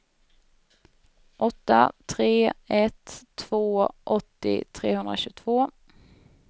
åtta tre ett två åttio trehundratjugotvå